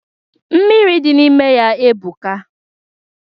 Mmiri dị n'ime ya ebuka.